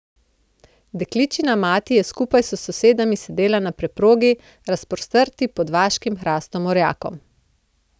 Dekličina mati je skupaj s sosedami sedela na preprogi, razprostrti pod vaškim hrastom orjakom.